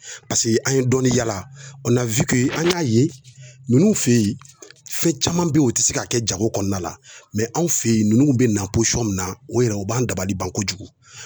an ye dɔɔnin yaala an y'a ye ninnu fe yen fɛn caman be yen u ti se ka kɛ jago kɔnɔna la anw fe yen ninnu be na na o yɛrɛ o b'an dabali ban kojugu